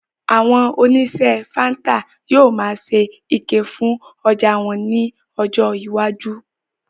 Àwọn oníṣe fáńtà yóò máa ṣe ike fún ọjà wọn ní ọjọ iwájú